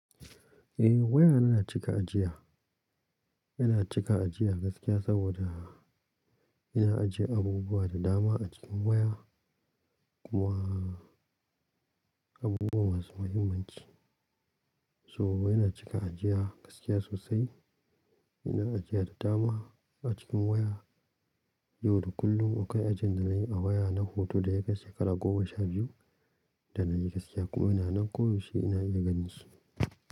Eh waya yana cika ajiya, yana cika ajiya gaskiya saboda yana ajiye abubuwa da dama a cikin waya kuma abubuwa masu muhimmanci. So yana cika ajiya gaskiya sosai, yana ajiya da dama a cikin waya. Yau da kullum akwai ajin da na yi a waya na hoto da ya kai shekara goma sha biyu. Da na yi gaskiya kuma ina nan ko ya shye ina iya ganin shi.